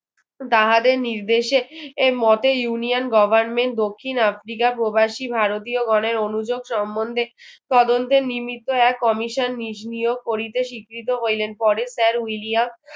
তাহাদের নির্দেশে এই মতের union goverment দক্ষিণ আফ্রিকার প্রবাসী ভারতীয়গণের অনুযোগ সমন্ধে তদন্তে নিমিত্ত এক commission করিতে স্বীকৃত হইলেন পরে sir william